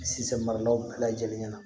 Sisan maralaw bɛɛ lajɛlen ɲɛ na